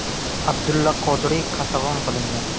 Abdulla Qodiriy qatag‘on qilingan.